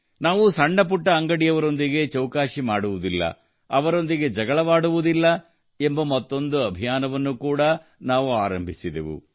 ನಾವು ಬಡ ಸಣ್ಣ ಪುಟ್ಟ ಅಂಗಡಿಯವರೊಂದಿಗೆ ಚೌಕಾಸಿ ಮಾಡುವುದಿಲ್ಲ ಅವರೊಂದಿಗೆ ಜಗಳವಾಡುವುದಿಲ್ಲ ಎಂಬ ಮತ್ತೊಂದು ಅಭಿಯಾನವನ್ನು ಕೂಡಾ ನಾವು ಆರಂಭಿಸಿದೆವು